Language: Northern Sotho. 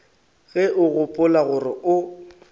ge o gopola gore o